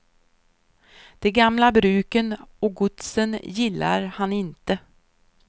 De gamla bruken och godsen gillar han inte.